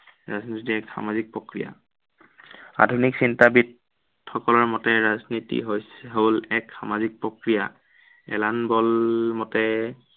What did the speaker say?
ৰাজনীতি এক সামাজিক প্ৰক্ৰিয়া। আধুনিক চিন্তাবীদ সকলৰ মতে ৰাজনীতি হল এক সামাজিক প্ৰক্ৰিয়া। এলান মতে